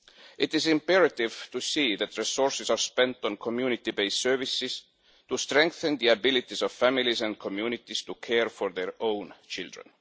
It is imperative to see that resources are spent on community based services to strengthen the ability of families and communities to care for their own children.